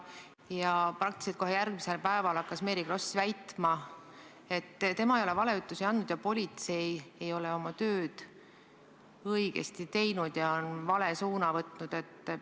Ja praktiliselt kohe järgmisel päeval hakkas Mary Kross väitma, et tema ei ole valeütlusi andnud ja politsei ei ole oma tööd õigesti teinud ja on vale suuna võtnud.